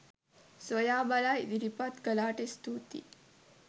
සොයා බලා ඉදිරිපත් කළාට ස්තුතියි